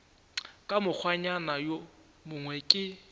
ka mokgwanyana wo mongwe ke